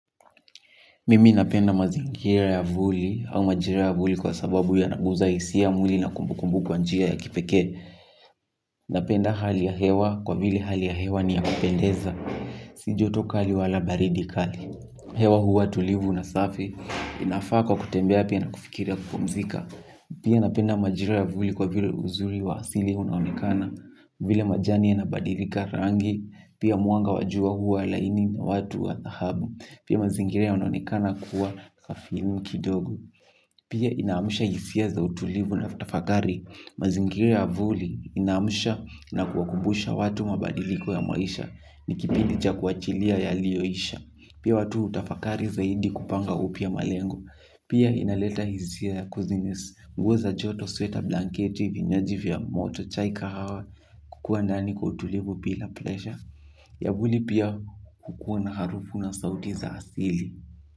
Mimi napenda mazingira ya vuli au majira ya vuli kwa sababu ya naguza isia mwili na kumbukumbu kwa njia ya kipekee. Napenda hali ya hewa kwa vile hali ya hewa ni ya kupendeza. Si joto kali wala baridi kali. Hewa huwa tulivu na safi. Inafaa kwa kutembea pia na kufikiri au kupomzika. Pia napenda majira ya vuli kwa vile uzuri wa asili unaonekana. Vile majani yanabadilika rangi. Pia mwanga wa jua huwa laini na watu wa dhahabu. Pia mazingira yana onekana kuwa kafimu kidogo. Pia inaamusha hisia za utulivu na utafakari. Mazingira ya vuli inaamusha na kuakubusha watu mabadiliko ya maisha. Nikipindi cha kuachilia yaliyoisha. Pia watu hutafakari zaidi kupanga upya malengo. Pia inaleta hisia ya kuzinis nguo za joto sweta blanketi vinyaji vya moto chai kahawa. Mimi napenda mazingire ya vuli au majire ya vuli kwa sababu ya naguza isia mwili na kumbu kumbu kwanjia ya kipeke.